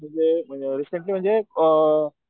म्हणजे म्हणजे रीसेंट्ली म्हणजे अ